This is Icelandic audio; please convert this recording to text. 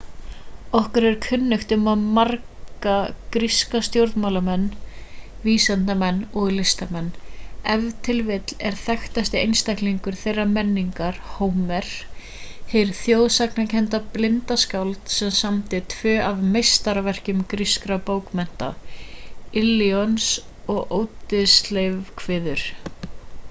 okkur er kunnugt um marga gríska stjórnmálamenn vísindamenn og listamenn ef til vill er þekktasti einstaklingur þeirrar menningar hómer hið þjóðsagnakennda blinda skáld sem samdi tvö af meistaraverkum grískra bókmenna illions og óddyseifskviður